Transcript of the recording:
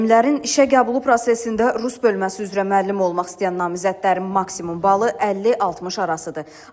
Müəllimlərin işə qəbulu prosesində rus bölməsi üzrə müəllim olmaq istəyən namizədlərin maksimum balı 50-60 arasıdır.